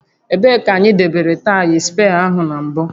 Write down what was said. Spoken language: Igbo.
Ebee ka anyị debere taya spee áhụ na mbụ?